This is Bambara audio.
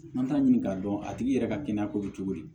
An t'a ɲini k'a dɔn a tigi yɛrɛ ka kɛnɛya ko bɛ cogo di